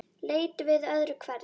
Leit við öðru hverju.